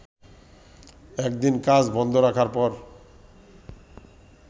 একদিন কাজ বন্ধ রাখার পর